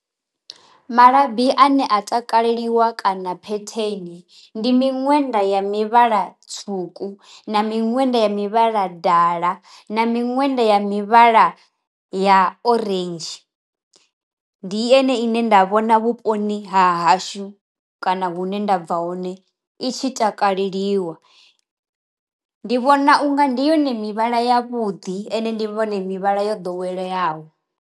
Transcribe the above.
Malabi ane a takaleliwa kana phetheni ndi miṅwenda ya mivhala tswuku na miṅwenda ya mivhala dala na miṅwenda ya mivhala ya orange, ndi ene ine nda vhona vhuponi ha hashu kana hune ndabva hone i tshi takaleliwa, ndi vhona unga ndi yone mivhala ya vhuḓi ende ndi vhone mivhala yo ḓoweleaho.